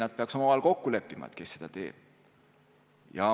Nad peaks omavahel kokku leppima, kes seda teeb.